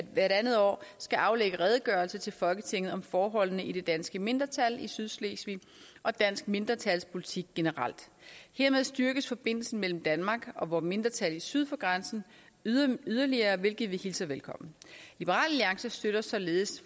andet år skal aflægge redegørelse til folketinget om forholdene i det danske mindretal i sydslesvig og dansk mindretalspolitik generelt hermed styrkes forbindelsen mellem danmark og vore mindretal syd for grænsen yderligere yderligere hvilket vi hilser velkommen liberal alliance støtter således